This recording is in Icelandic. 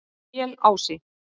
Melási